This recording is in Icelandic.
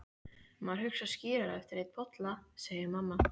Maður hugsar skýrar eftir einn bolla, segir mamma.